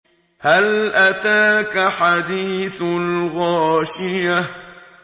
هَلْ أَتَاكَ حَدِيثُ الْغَاشِيَةِ